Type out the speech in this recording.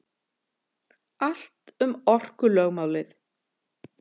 Allt um orkulögmálið.